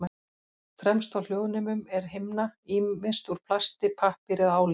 Fremst á hljóðnemum er himna, ýmist úr plasti, pappír eða áli.